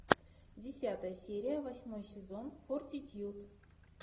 десятая серия восьмой сезон фортитьюд